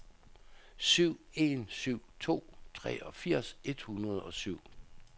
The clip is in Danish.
syv en syv to treogfirs et hundrede og syv